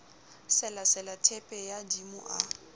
selasela theepe ya dimo a